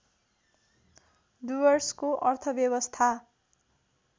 डुवर्सको अर्थव्यवस्था